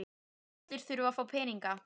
Allir þurfa að fá peninga.